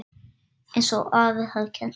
Einsog afi hafði kennt honum.